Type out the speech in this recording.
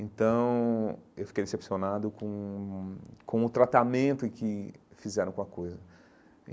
Então, eu fiquei decepcionado com o com o tratamento que fizeram com a coisa.